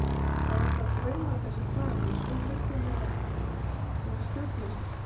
Svo eru alltaf draumarnir sem plaga mann svo hryllilegir og stjórnlausir.